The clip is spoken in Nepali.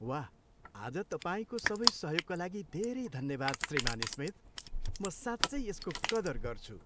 वाह, आज तपाईँको सबै सहयोगका लागि धेरै धन्यवाद, श्रीमान् स्मिथ। म साँच्चै यसको कदर गर्छु!